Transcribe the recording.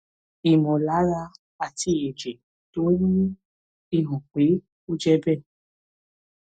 ìmọ̀lára àti ẹ̀jẹ̀ tó ń wú fi hàn pé ó jẹ́ bẹ́ẹ̀